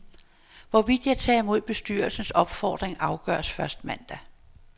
Hvorvidt jeg tager imod bestyrelsens opfordring afgøres først mandag.